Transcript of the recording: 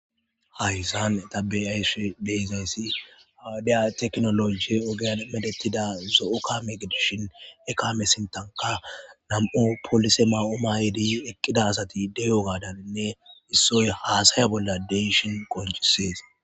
Haysan ta be'ashe didays ha wodiya tekinoloje ogiyan medhetida zo'o kame gidishin he kame sintanka nam'u polisetu ma'uwa ma'idi eqida asati de'iyogadanne issoy hasaya bolan de'ishin qonc'ses.